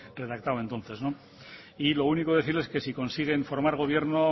redactado entonces y lo único decirles que si consiguen formar gobierno